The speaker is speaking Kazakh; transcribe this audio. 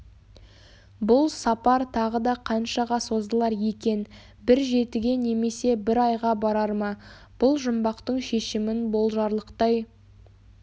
бұл сапар тағы да қаншаға созылар екен бір жетіге немесе бір айға барар ма бұл жұмбақтың шешімін болжарлықтай